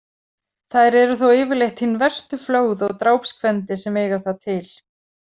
Þær eru þó yfirleitt hin verstu flögð og drápskvendi sem eiga það til.